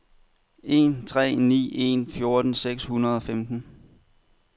en tre ni en fjorten seks hundrede og femten